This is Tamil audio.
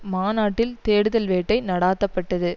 மாநாட்டில் தேடுதல் வேட்டை நடாத்த பட்டது